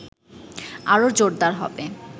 আরো জোরদার হবে